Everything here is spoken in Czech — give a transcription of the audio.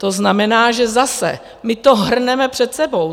To znamená, že zase my to hrneme před sebou.